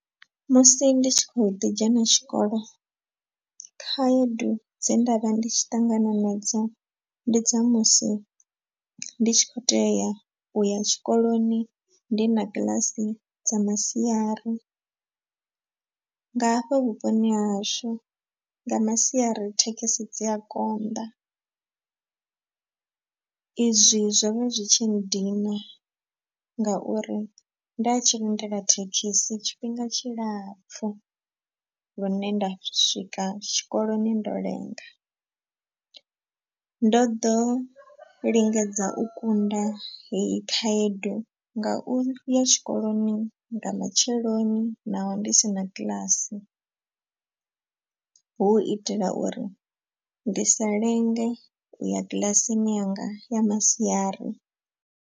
Musi ndi tshi khou ḓi dzhena tshikolo khaedu dze nda vha ndi tshi ṱangana nadzo ndi dza musi ndi tshi khou tea uya tshikoloni ndi na kiḽasi dza masiari. Nga hafha vhuponi hahashu nga masiari thekhisi dzi a konḓa. Izwi zwo vha zwi tshi nndina ngauri nda tshi lindela thekhisi tshifhinga tshilapfhu. Lune nda swika tshikoloni ndo lenga, ndo ḓo lingedza u kunda heyi khaedu nga u ya tshikoloni nga matsheloni naho ndi si na kiḽasi. Hu itela uri ndi sa lenge u ya kilasini yanga ya masiari.